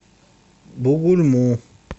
бугульму